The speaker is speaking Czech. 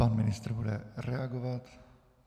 Pan ministr bude reagovat.